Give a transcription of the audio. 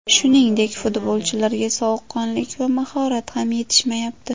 Shuningdek, futbolchilarga sovuqqonlik va mahorat ham yetishmayapti.